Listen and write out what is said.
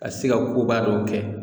Ka se ka koba dɔw kɛ